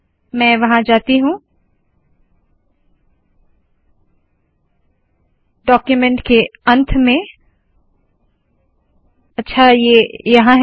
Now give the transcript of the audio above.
मैं वहाँ जाती हूँ डाक्यूमेन्ट के अंत में अच्छा ये यहाँ है